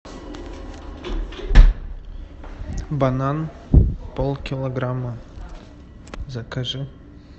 банан полкилограмма закажи